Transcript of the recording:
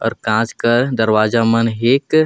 और कांच कर दरवाजा मन हिक।